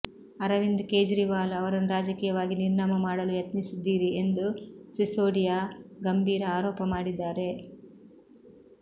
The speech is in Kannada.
ಅರವಿಂದ್ ಕೇಜ್ರಿವಾಲ್ ಅವರನ್ನು ರಾಜಕೀಯವಾಗಿ ನಿರ್ನಾಮ ಮಾಡಲು ಯತ್ನಿಸಿದ್ದೀರಿ ಎಂದು ಸಿಸೋಡಿಯಾ ಗಂಬೀರ ಆರೋಪ ಮಾಡಿದ್ದಾರೆ